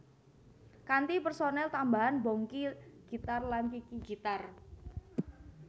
Kanthi personel tambahan Bongky gitar lan Kiki gitar